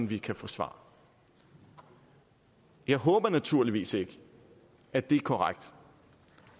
vi kan få svar jeg håber naturligvis ikke at det er korrekt